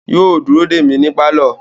Yóò dúró dè mí ní pálọ̀